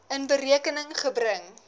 in berekening gebring